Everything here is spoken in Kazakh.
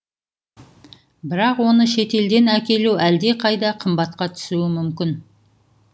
бірақ оны шетелден әкелу әлдеқайда қымбатқа түсуі мүмкін